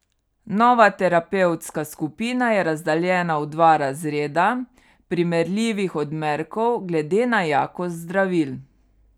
Nova terapevtska skupina je razdeljena v dva razreda primerljivih odmerkov glede na jakost zdravil.